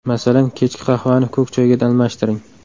Masalan, kechki qahvani ko‘k choyga almashtiring.